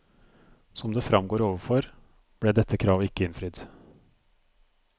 Som det fremgår overfor, ble dette kravet ikke innfridd.